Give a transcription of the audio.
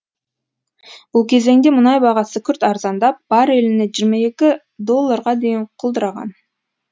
бұл кезеңде мұнай бағасы күрт арзандап барреліне жиырма екі долларға дейін құлдыраған